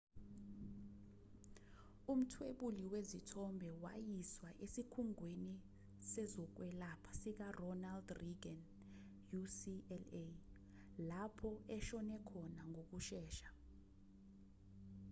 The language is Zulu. umthwebuli wezithombe wayiswa esikhungweni sezokwelapha sikaronald reagan ucla lapho eshone khona ngokushesha